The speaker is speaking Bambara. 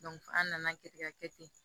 an nana kɛ ka kɛ ten